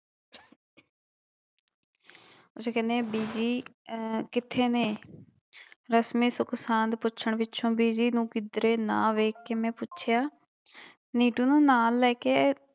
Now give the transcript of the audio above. ਕਹਿੰਦੇ ਬੀਜੀ ਅਹ ਕਿੱਥੇ ਨੇ ਰਸਮੀ ਸੁੱਖਸਾਂਦ ਪੁੱਛਣ ਪਿੱਛੋਂ ਬੀਜੀ ਨੂੰ ਕਿੱਧਰੇ ਨਾ ਵੇਖ ਕੇ ਮੈਂ ਪੁੱਛਿਆ ਨਿੱਟੂ ਨੂੰ ਨਾਲ ਲੈ ਕੇ